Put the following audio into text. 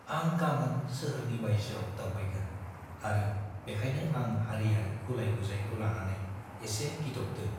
आं गामोन सोहोरनि बायजोआव दावबायगोन आरो बेखायनो आं हारियारि गुलाय-गुजायखौ लानानै एसे गिदबदों।